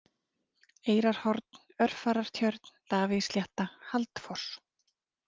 Eyrarhorn, Örfarartjörn, Davíðsslétta, Haldfoss